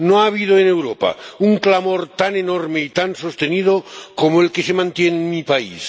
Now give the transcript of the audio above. No ha habido en Europa un clamor tan enorme y tan sostenido como el que se mantiene en mi país.